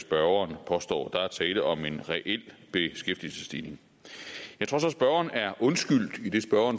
spørgeren påstår der er tale om en reel beskæftigelsesstigning jeg tror så spørgeren er undskyldt idet spørgeren